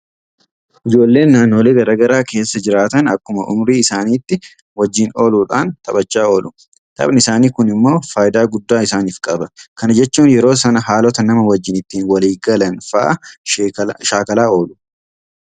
Ijoolleen naannolee garaa garaa keessa jiraatan akkuma ummurii isaaniitti wajjin ooluudhaan taphachaa oolu. Taphni isaanii kun immoo faayidaa guddaa isaaniif qaba. Kana jechuun yeroo sana haalota nama wajjiin ittiin walii galan fa'aa shaakalaa oolu.